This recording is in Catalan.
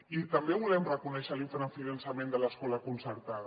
i també volem reconèixer l’infrafinançament de l’escola concertada